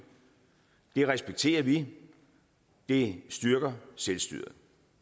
det respekterer vi det styrker selvstyret